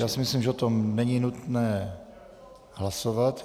Já si myslím, že o tom není nutné hlasovat.